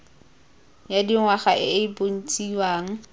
ya dingwaga e e bontshiwang